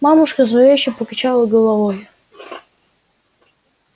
мамушка зловеще покачала головой